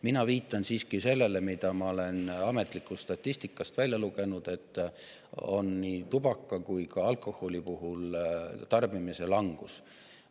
Mina viitan siiski sellele, mida ma olen ametlikust statistikast välja lugenud, et on nii tubaka kui ka alkoholi tarbimise langus.